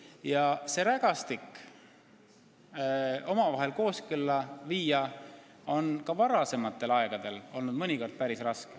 Kogu see rägastik omavahel kooskõlla viia on ka varasematel aegadel olnud mõnikord päris raske.